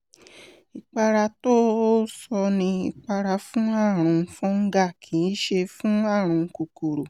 ìpara tó o sọ ni ipara fún ààrùn fungal kìí ṣe fún ààrùn kòkòrò